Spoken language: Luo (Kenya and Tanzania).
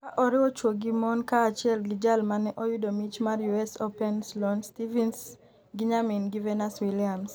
ka oriwo chuwo gi mon kaachiel gi jal mane oyudo mich mar US Open Sloane Stephens gi nyamin gi Venus Williams